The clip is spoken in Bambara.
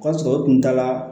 O y'a sɔrɔ u kun taala